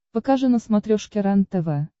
покажи на смотрешке рентв